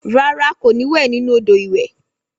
Rárá kò ní wẹ nínú odò ìwẹ̀